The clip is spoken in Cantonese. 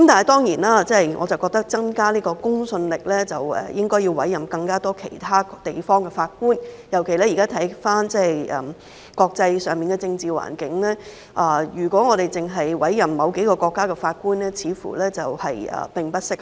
但是，我認為如要增加公信力，便應該委任更多其他地方的法官，尤其是觀乎現時的國際政治環境，如果我們只委任某幾個國家的法官，似乎並不適合。